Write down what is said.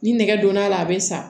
Ni nɛgɛ donna a la a bɛ san